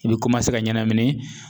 I bi ka ɲanamini